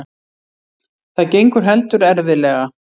Það gengur heldur erfiðlega.